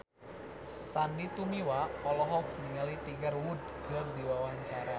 Sandy Tumiwa olohok ningali Tiger Wood keur diwawancara